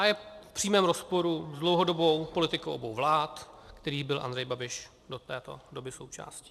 A je v přímém rozporu s dlouhodobou politikou obou vlád, kterých byl Andrej Babiš do této doby součástí.